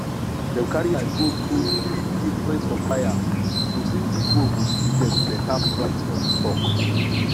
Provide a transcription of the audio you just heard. dem carry eye go through three different suppliers to see which one go give dem better price for the stock